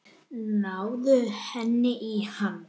Hún þegir lengi.